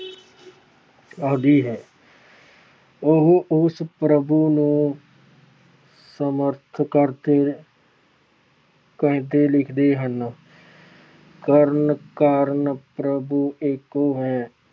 ਆਦਿ ਹੈ। ਉਹ ਉਸ ਪ੍ਰਭੂ ਨੂੰ ਸੰਬੋਧਨ ਕਰਦੇ ਕਰਦੇ ਲਿਖਦੇ ਹਨ। ਕਰਨ ਕਾਰਨ ਪ੍ਰਭੂ ਏਕੁ ਹੈ